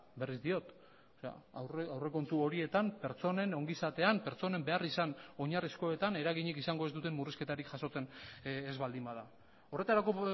berriz diot aurrekontu horietan pertsonen ongizatean pertsonen beharrizan oinarrizkoetan eraginik izango ez duten murrizketarik jasotzen ez baldin bada horretarako